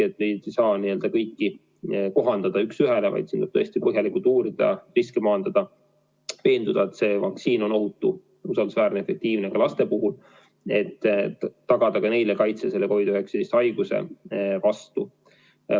Ei saa kõike kohandada üks ühele, vaid siin tuleb tõesti põhjalikult uurida, riske maandada, veenduda, et see vaktsiin on ohutu, usaldusväärne ja efektiivne ka laste puhul, et tagada neile kaitse COVID-19 haiguse vastu.